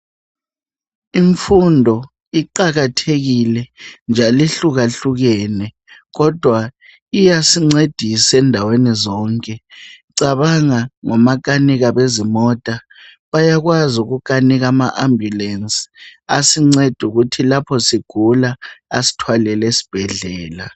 Imfundo iqakathekile njalo ihluka hlukene kodwa iyasincedisa endaweni zonke cabanga ngomakanika bezimota bayakwaz ukukanika ama ambulance asinceda ukuthi lapho sigula asithwalele esibhedlela